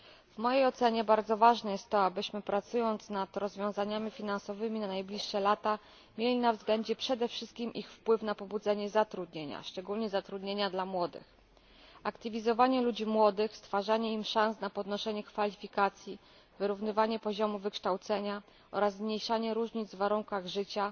W mojej ocenie bardzo ważne jest to, abyśmy pracując nad rozwiązaniami finansowymi na najbliższe lata, mieli na względzie przede wszystkim ich wpływ na pobudzenie zatrudnienia, szczególnie zatrudnienia dla młodych, aktywizowanie ludzi młodych, stwarzanie im szans na podnoszenie kwalifikacji, wyrównywanie poziomów wykształcenia oraz zmniejszanie różnic w warunkach życia